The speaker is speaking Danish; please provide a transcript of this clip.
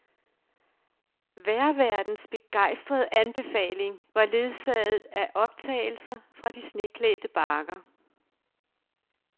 Vejrværtens begejstrede anbefaling var ledsaget af optagelser fra de sneklædte bakker.